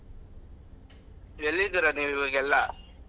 ಎಲ್ಲಿ ಇದ್ದೀರಾ ನೀವು ಇವಾಗ ಎಲ್ಲಾ?